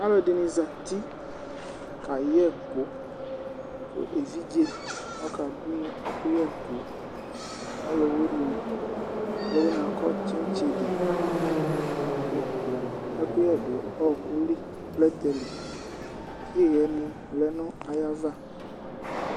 Alu ɛɖìní zati kayɛku Evidze ɔkaɖʋŋu ɛkuyɛ ku ɔlʋwiníɛ Ɔlʋwiníɛ akɔ tsetsɛde Ɛkuyɛ ɖu ɔkuli, plɛtɛli ku ihɛni lɛŋʋ ayʋava